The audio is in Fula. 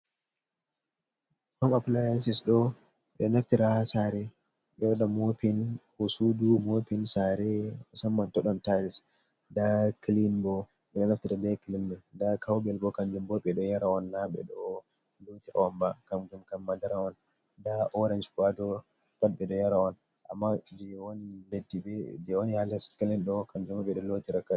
Hom appliancis ɗo'o ɓe ɗo naftira saare ɓe waɗa moopin haa suudu moopin saare taayis ndaa kilin boo, ndaa kawbel boo, kanjum boo ɓe ɗon yaara on naa ɓe ɗo lootirab on ba, kamnjum kam madara on nda oranje boo haa dow bat ɓe ɗo yara on amma jey wani haa les clin ɗo'o kanjum boo ɓe ɗo lootira.